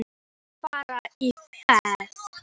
Á hann að fara í féð?